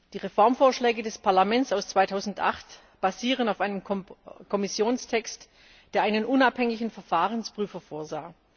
Die Reformvorschläge des Parlaments aus dem Jahr 2008 basieren auf einem Kommissionstext, der einen unabhängigen Verfahrensprüfer vorsah.